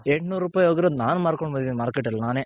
ಎಂಟ್ ನೂರೂಪಾಯ್ ಹೋಗಿರೋದು ನಾನ್ ಮಾರ್ಕೊಂಡ್ ಬಂದಿದೀನಿ Market ನಲ್ಲಿ ನಾನೇ.